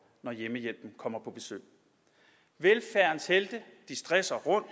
når hjemmehjælpen kommer på besøg velfærdens helte stresser rundt